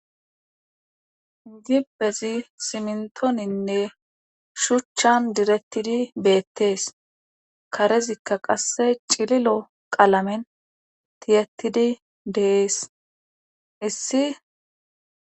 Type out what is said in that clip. Dibbezi simntoninne shuchchan direttidi beettees karezikka qasse cililo qalamen tiyettidi dees issi.